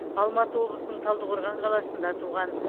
алматы облысының талдықорған қаласында туған